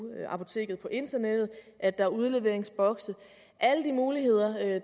apoteket på internettet og at der er udleveringsbokse alle de muligheder